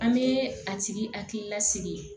An bɛ a tigi hakili lasigi